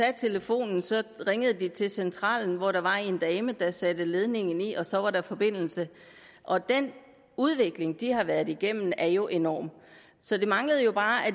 telefonen ringede de til centralen hvor der var en dame der satte ledningen i og så var der forbindelse og den udvikling de har været igennem er jo enorm så det manglede jo bare